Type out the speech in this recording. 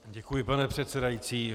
Děkuji, pane předsedající.